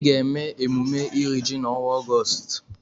Anyị ga-eme emume iri ji n'ọnwa Ọgọọst.